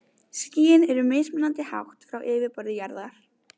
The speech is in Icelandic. Skýin eru mismunandi hátt frá yfirborði jarðar.